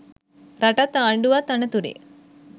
රටත් ආණ්ඩුවත් අනතුරේ.